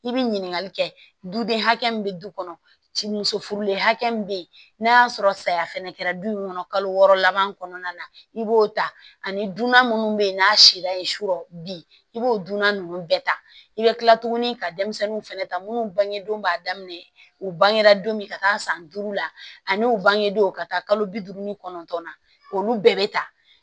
I bi ɲininkali kɛ duden hakɛ min be du kɔnɔ ci muso furulen hakɛ min be yen n'a y'a sɔrɔ saya fɛnɛ kɛra du in kɔnɔ kalo wɔɔrɔ laban kɔnɔna na i b'o ta ani dunan minnu be yen n'a si la ye sukɔrɔ bi i b'o dunan ninnu bɛɛ ta i bɛ kila tuguni ka denmisɛnninw fɛnɛ ta munnu bangedon b'a daminɛ u bangera don min ka taa san duuru la ani u bangedon ka taa kalo bi duuru ni kɔnɔntɔn na olu bɛɛ bɛ ta